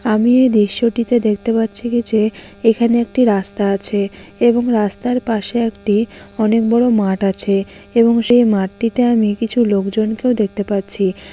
আমি এই দৃশ্য টিতে দেখতে পাচ্ছি কি যে এখানে একটি রাস্তা আছে এবং রাস্তার পাশে একটি অনেক বড় মাঠ আছে এবং সেই মাঠটিতে আমি কিছু লোকজনকেও দেখতে পাচ্ছি।